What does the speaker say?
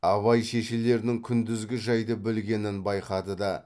абай шешелерінің күндізгі жайды білгенін байқады да